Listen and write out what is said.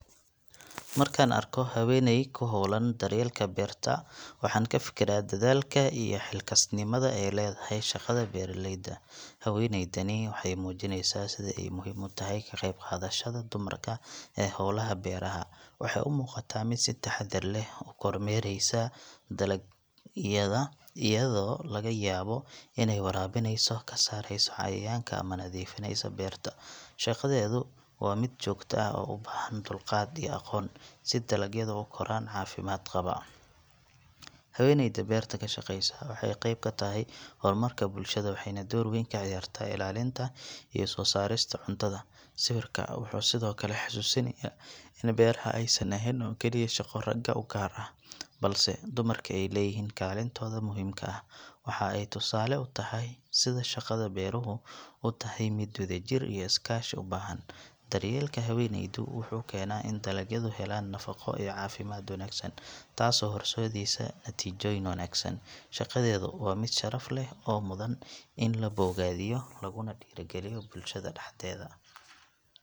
Markaan arko haweeney ku hawlan daryeelka beerta waxaan ka fikiraa dadaalka iyo xilkasnimada ay leedahay shaqada beeralayda. Haweeneydani waxay muujineysaa sida ay muhiim u tahay ka qayb qaadashada dumarka ee hawlaha beeraha. Waxay u muuqataa mid si taxaddar leh u kormeeraysa dalagyada, iyadoo laga yaabo inay waraabinayso, ka saaraysa cayayaanka ama nadiifinaysa beerta. Shaqadeedu waa mid joogto ah oo u baahan dulqaad iyo aqoon si dalagyadu u koraan caafimaad qaba. Haweeneyda beerta ka shaqaysa waxay qayb ka tahay horumarka bulshada, waxayna door weyn ka ciyaartaa ilaalinta iyo soo saarista cuntada. Sawirka wuxuu sidoo kale xasuusinayaa in beeraha aysan ahayn oo kaliya shaqo ragga u gaar ah, balse dumarku ay leeyihiin kaalintooda muhiimka ah. Waxa ay tusaale u tahay sida shaqada beeruhu u tahay mid wadajir iyo iskaashi u baahan. Daryeelka haweeneydu wuxuu keenaa in dalagyadu helaan nafaqo iyo caafimaad wanaagsan taasoo horseedaysa natiijooyin wanaagsan. Shaqadeedu waa mid sharaf leh oo mudan in la bogaadiyo laguna dhiirrigeliyo bulshada dhexdeeda.